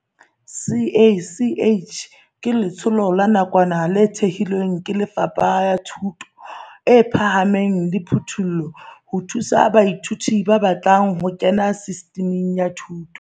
CACH ke letsholo la nakwana le thehilweng ke Lefapha la Thuto e Phahameng le Thupello ho thusa baithuti ba batlang ho kena Sistiming ya Thuto